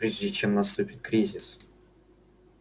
прежде чем наступит кризис